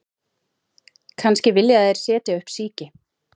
Kannski vilja þeir setja upp síki